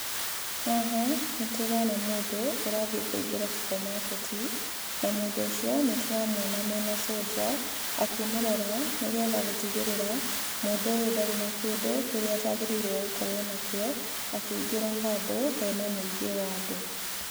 Haha nĩtũrona mũndũ ũrathiĩ kũĩngĩra supermarket. Na mũndũ ũcio nĩ tũramuona mena cũnja akĩmũrora, nĩgetha gũtigĩrĩra mũndũ ũyũ ndarĩ na kĩndũ kĩrĩa atagĩrĩirwo gũkorwo nakĩo akĩingĩra handũ hena muingĩ wa andũ.